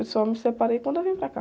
Eu só me separei quando eu vim para cá.